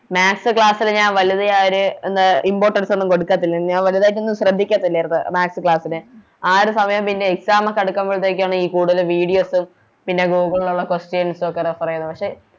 Maths class ന് ഞാൻ വലുത് ആ ഒര് എന്താ Importance ഒന്നും കൊടുക്കത്തില്ല ഞാൻ വലുതായിട്ടൊന്നും ശ്രദ്ധിക്കത്തില്ലായിരുന്നു Maths class ല് ആ ഒരു സമയം പിന്നെ Exam ഒക്കെ അടുക്കുമ്പഴത്തെക്കാണ് ഈ കൂടുതല് Videos പിന്നെ Google ലോള്ള Questions ഒക്കെ Refer ചെയ്തത്